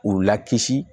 U lakisi